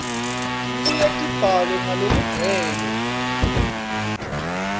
tibuye tibhalwe ngalokugcwele